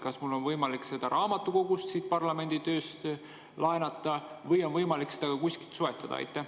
Kas mul oleks võimalik seda siit parlamendi raamatukogust laenata või on võimalik seda ka kuskilt soetada?